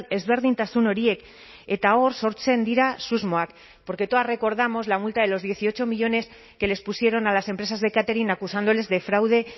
ezberdintasun horiek eta hor sortzen dira susmoak porque todas recordamos la multa de los dieciocho millónes que les pusieron a las empresas de catering acusándoles de fraude